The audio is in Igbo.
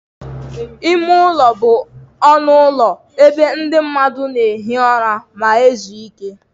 Ime ụlọ bụ ọnụ ụlọ ebe ndị mmadụ na-ehi ụra ma ezu ike.